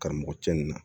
Karamɔgɔ cɛ nin na